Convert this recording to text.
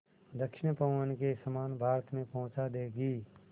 दक्षिण पवन के समान भारत में पहुँचा देंगी